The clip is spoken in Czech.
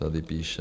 - Tady píše.